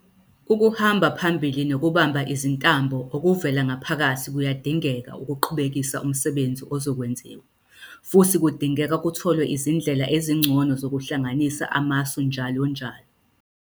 Ukuhamba phambili nokubamba izintambo okuvela ngaphakathi kuyadingeka ukuqhubekisa umsebenzi ozokwenziwa, futhi kudingeka kutholwe izindlela ezingcono zokuhlanganisa amasu njalonjalo.